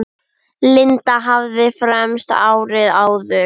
Linda hafði fermst árið áður.